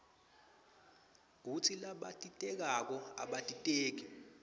kutsi labatitekako abatiteki